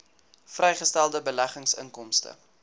vrygestelde beleggingsinkomste